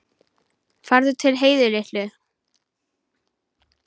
Farðu til Heiðu litlu.